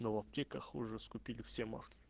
в аптеках уже раскупили все маски